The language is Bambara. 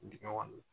Dingɛ kɔnɔ